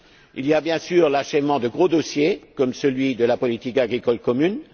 Il y a bien sûr l'achèvement de gros dossiers, comme celui de la politique agricole commune.